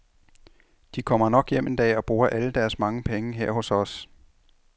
De kommer nok hjem en dag og bruger alle deres mange penge her hos os.